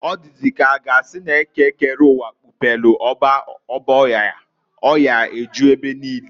Ọ dịzị k'a ga asị n'Eke kere uwa, kpupelu ọba ọya, ọya eju ebe niine.